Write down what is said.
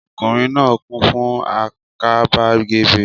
Ọkùnrin náà kún fún àgàbàgebè